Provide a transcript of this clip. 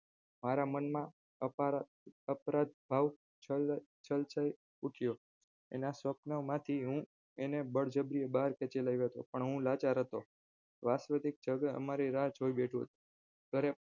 મારા મનમાં અકાળજ અચરજ ભાવ છલકાઈ ઉઠ્યો અને સ્વપનમાંથી હું તેને બળજબરીથી બાર ખેંચી લાવ્યો હતો પણ હું લાચાર હતો અમારી રાહ જોઈ બેઠું હતું ત્યારે